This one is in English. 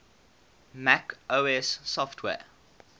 mac os software